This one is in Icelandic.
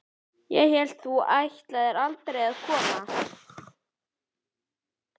Ég hélt að þú ætlaðir aldrei að koma.